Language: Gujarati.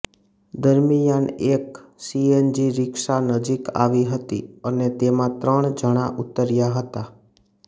દરમિયાન એક સીએનજી રિક્ષા નજીક આવી હતી અને તેમાં ત્રણ જણા ઉતર્યા હતા